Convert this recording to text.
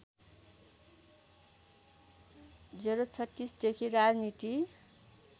०३६ देखि राजनीति